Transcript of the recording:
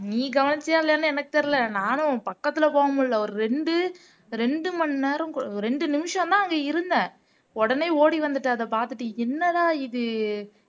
நீ கவனிச்சியா இல்லையான்னு எனக்கு தெரியல நானும் உன் பக்கத்துல போக முடியல ஒரு ரெண்டு ரெண்டு மணி நேரம் ரெண்டு நிமிஷம்தான் அங்க இருந்தேன் உடனே ஓடி வந்துட்டேன் அதப் பாத்துட்டு என்னடா இது